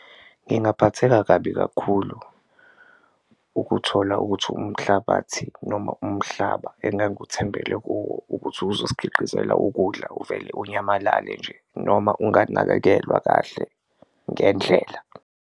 Ngingaphatheka kabi kakhulu ukuthola ukuthi umhlabathi noma umhlaba enganguthembele kuwo ukuthi uzosikhiqizela ukudla uvele unyamalale nje, noma enganakekelwa kahle ngendlela.